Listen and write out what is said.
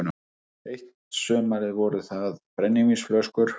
Eitt sumarið voru það brennivínsflöskur